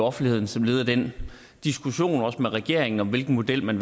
offentligheden som led i den diskussion også med regeringen om hvilken model man